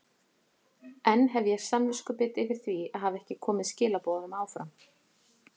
Enn hef ég samviskubit yfir því að hafa ekki komið skilaboðunum áfram.